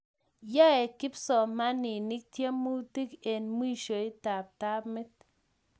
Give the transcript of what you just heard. nyoe kipsomaninik tiemutik en mwishoitab tamit